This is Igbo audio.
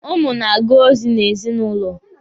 Ụmụ na-aga ozi n'ezinụlọ.